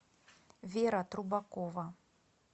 вера трубакова